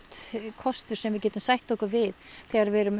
kostur sem við getum sætt okkur við þegar við erum